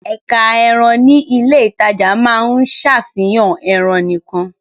Ẹ̀ka ẹran ní ilé-ìtajà máa ń ṣàfihàn ẹran nìkan.